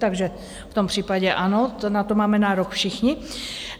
Takže v tom případě ano, na to máme nárok všichni.